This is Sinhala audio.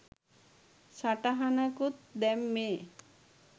සටහනකුත් දැම්මේ .